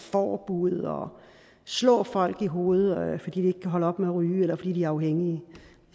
forbud og slå folk i hovedet fordi de ikke kan holde op med at ryge eller fordi de er afhængige